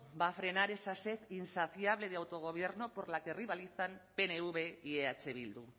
va a frenar esa sed insaciable de autogobierno por la que rivalizan pnv y eh bildu